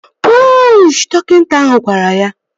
Puuuuuushị! Dọkịta ahụ gwara ya